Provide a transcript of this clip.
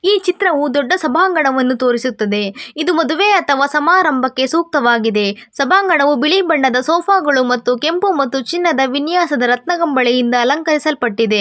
ಈ ಚಿತ್ರವು ದೊಡ್ಡ ಸಭಾಂಗಣವನ್ನು ತೋರಿಸುತ್ತದೆ ಇದು ಮದುವೆ ಅಥವಾ ಸಮಾರಂಭಕ್ಕೆ ಸೂಕ್ತವಾಗಿದೆ ಸಭಾಂಗಣವು ಬಿಳಿ ಬಣ್ಣದ ಸೋಪಾಗಳು ಮತ್ತು ಕೆಂಪು ಮತ್ತು ಚಿನ್ನದ ವಿನ್ಯಾಸದ ರತ್ನ ಕಂಬಳಿಯಿಂದ ಅಲಂಕರಿಸಲ್ಪಟ್ಟಿದೆ.